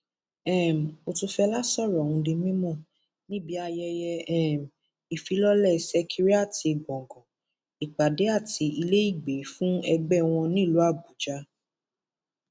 um òtúfẹlà sọrọ ọhún di mímọ níbi ayẹyẹ um ìfilọlẹ sẹkẹriàti gbọngàn ìpàdé àti iléìgbẹ fún ẹgbẹ wọn nílùú àbújá